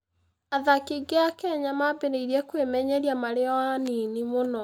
Athaki aingĩ a Kenya mambĩrĩria kwĩmenyeria marĩ o anini mũno.